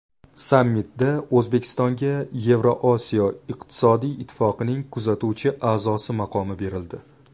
Sammitda O‘zbekistonga Yevrosiyo iqtisodiy ittifoqining kuzatuvchi a’zosi maqomi berildi.